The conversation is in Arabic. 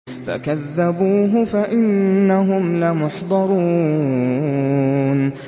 فَكَذَّبُوهُ فَإِنَّهُمْ لَمُحْضَرُونَ